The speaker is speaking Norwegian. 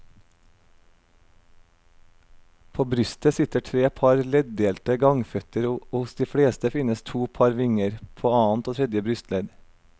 På brystet sitter tre par leddelte gangføtter og hos de fleste finnes to par vinger, på annet og tredje brystledd.